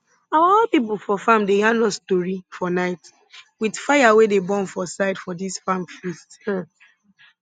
our old pipo for farm dey yarn us tori for night with fire wey dey burn for side for dis farm feast um